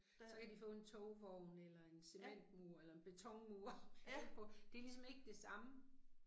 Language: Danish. Så kan de få en togvogn eller en cementmur eller en betonmur og male på. Det er ligesom ikke det samme